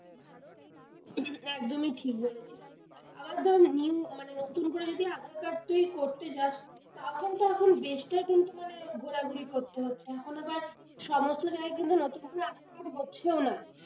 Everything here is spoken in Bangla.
একদমই ঠিক বলেছিস আবার ধর new মানে নতুন করে যদি aadhaar card তুই করতে যাস তখন, তখন, বেসাটা কিন্তু মানে ঘোরাঘুরি করতে হচ্ছে, এখন আবার সমস্ত জায়গায় কিন্তু নতুন করে up to date হচ্ছেও না।